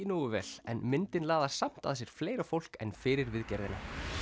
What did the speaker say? nógu vel en myndin laðar samt að sér fleira fólk en fyrir viðgerðina